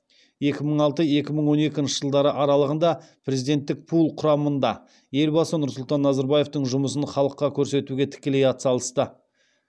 екі мың алты екі мың он екінші жылдары аралығында президенттік пул құрамында елбасы нұрсұлтан назарбаевтың жұмысын халыққа көрсетуге тікелей атсалысты